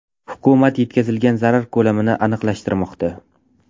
Hukumat yetkazilgan zarar ko‘lamini aniqlashtirmoqda.